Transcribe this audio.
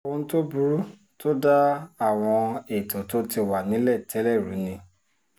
ohun tó burú tó da àwọn ètò tó ti wà nílẹ̀ tẹ́lẹ̀ rú ni